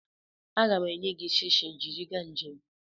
Aga m enye gị shishi jiri gaa njem.